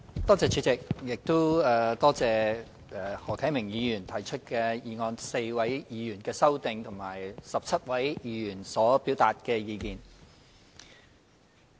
多謝主席，亦多謝何啟明議員提出議案 ，4 位議員提出修正案，以及17位議員表達意見。